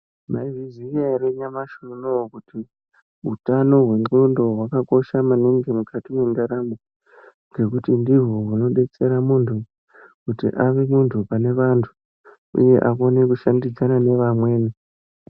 Maizviziya ere nyamashi unouwu kuti utano hwendxondo hwakakosha maningi mukati mwendaramo, ngekuti ndihwo hunodetsera muntu kuti ave muntu pane vantu uye akone kushandidzana nevamweni.